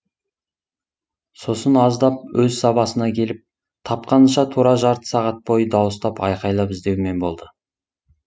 сосын аздап өз сабасына келіп тапқанынша тура жарты сағат бойы дауыстап айқайлап іздеумен болды